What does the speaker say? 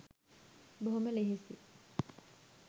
බොහොම ලෙහෙසියි